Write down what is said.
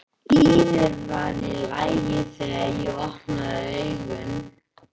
Lífið var í lagi þegar ég opnaði augun.